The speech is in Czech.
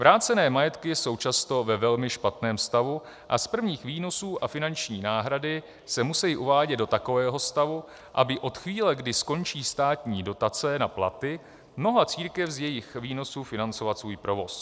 Vrácené majetky jsou často ve velmi špatném stavu a z prvních výnosů a finanční náhrady se musejí uvádět do takového stavu, aby od chvíle, kdy skončí státní dotace na platy, mohla církev z jejich výnosů financovat svůj provoz.